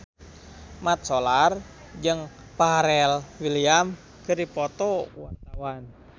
Mat Solar jeung Pharrell Williams keur dipoto ku wartawan